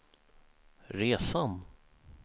resan